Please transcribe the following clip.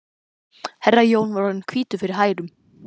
Herra Jón var orðinn hvítur fyrir hærum.